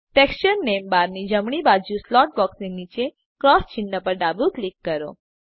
texture name બારની જમણી બાજુ પર સ્લોટ બોક્સ નીચે ક્રોસ ચિન્હ પર ડાબું ક્લિક કરો